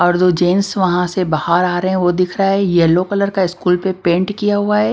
और जो जेंट्स वहां से बाहर आ रहे हैं वो दिख रहा है येलो कलर का स्कूल पे पेंट किया हुआ है।